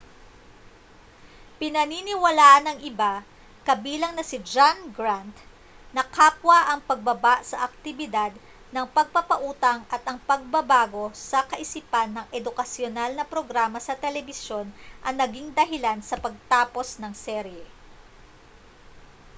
pinaniniwalaan ng iba kabilang na si john grant na kapwa ang pagbaba sa aktibidad ng pagpapautang at ang pagbabago sa kaisipan ng edukasyonal na programa sa telebisyon ang naging dahilan sa pagtapos ng serye